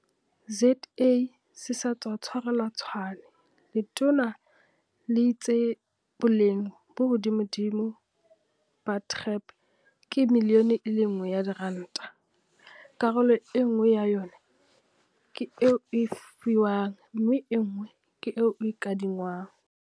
ZA se sa tswa tshwarelwa Tshwane, letona le itse boleng bo hodimodimo ba TREP ke miliyone e le nngwe ya diranta, karolo enngwe ya yona ke e o e fiwang mme enngwe ke e o e kadi ngwang.